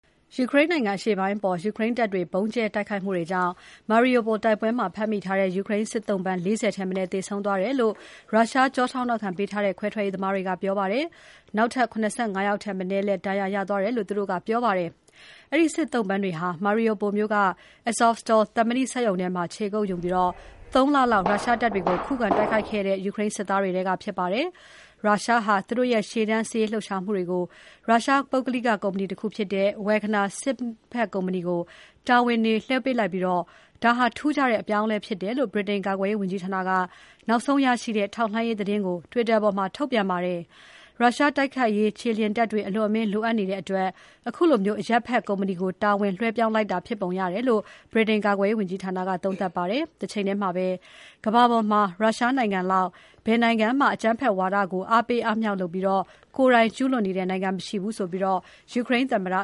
ယူကရိန်းနိုင်ငံအရှေ့ပိုင်းအပေါ် ယူကရိန်းတပ်တွေ ဗုံးကြဲတိုက်ခိုက်မှုတွေကြောင့် Mariupol တိုက်ပွဲမှာ ဖမ်းမိထားတဲ့ ယူကရိန်းစစ်သုံ့ပန်း ၄၀ ထက်မနည်း သေဆုံးသွားတယ်လို့ ရုရှားကျောထောက်နောက်ခံပေးထားတဲ့ ခွဲထွက်ရေးသမားတွေက ပြောပါတယ်။ နောက်ထပ် ၇၅ ယောက်ထက်မနည်းလည်း ဒဏ်ရာရသွားတယ်လို့ သူတို့က ပြောပါတယ်။ အဲဒီစစ်သုံ့ပန်းတွေဟာ Mariupol မြို့က Azovstal သံမဏိစက်ရုံထဲမှာ ခြေကုပ်ယူပြီး ၃ လလောက် ရုရှားတပ်တွေကို ခုခံတိုက်ခဲ့တဲ့ ယူကရိန်းစစ် သားတွေထဲက ဖြစ်ကြပါတယ်။ ရုရှားဟာ သူတို့ရဲ့ ရှေ့တန်း စစ်ရေးလှုပ်ရှားမှုတွေကို ရုရှား ပုဂ္ဂလိကကုမ္မဏီဖြစ်တဲ့ Wagner စစ်ဘက်ကုမ္ပဏီကို တာဝန်တွေလွှဲပေးလိုက်ပြီး ဒါဟာ ထူးခြားတဲ့ အပြောင်းအလဲဖြစ်တယ်လို့ ဗြိတိန်ကာကွယ်ရေးဝန်ကြီးဌာနက နောက်ဆုံးရရှိတဲ့ ထောက်လှမ်းရေးသတင်းကို Twitter ပေါ်မှာ ထုတ်ပြန်ခဲ့ပါတယ်။ ရုရှားတိုက်ခိုက်ရေး ခြေလျင်တပ်တွေ အလွန်အမင်းလိုအပ်နေတဲ့အတွက် အခုလို အရပ်ဘက်ကုမ္မဏီကို တာဝန်လွှဲပြောင်းလိုက်တာဖြစ်ပုံရတယ်လို့လည်း ဗြိတိန် ကာကွယ်ရေးဝန်ကြီးဌာနက သုံးသပ်ပါတယ်။ တချိန်တည်းမှာပဲ ကမ္ဘာပေါ်မှာ ရုရှားနိုင်ငံလောက် ဘယ်နိုင်ငံမှ အကြမ်းဖက်ဝါဒကို အားပေးအားမြှောက်လုပ်ပြီး ကိုယ်တိုင်ကျုးလွန်နေတဲ့ နိုင်ငံမရှိဘူးဆိုပြီး ယူကရိန်းသမ္မတ